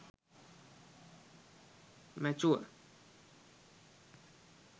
mature